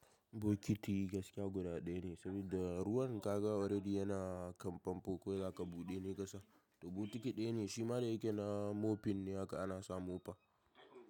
Bokiti gaskiya guda ɗaya ne, saboda ruwan ka ga already yana kan fanfo kawai zaka buɗe ne kasa. To bokiti ɗaya ne shima da yake na moping ne haka ana samu mofa.